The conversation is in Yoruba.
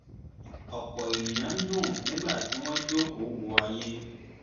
ọ̀pọ̀ ènìyàn ń dùn nígbà tí wọ́n jókòó wo ayé